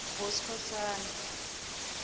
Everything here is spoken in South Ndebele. boskhosana